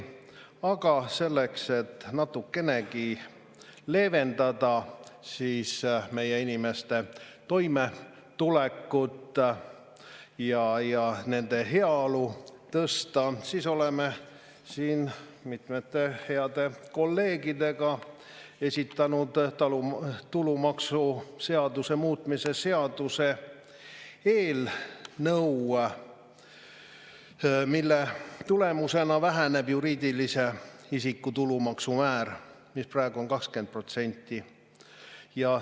Aga selleks, et natukenegi leevendada meie inimeste toimetuleku ja nende heaolu tõsta, olen mitmete heade kolleegidega esitanud tulumaksuseaduse muutmise seaduse eelnõu, mille tulemusena väheneb juriidilise isiku tulumaksumäär, mis praegu on 20%.